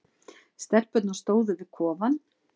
Stelpurnar stóðu við kofann.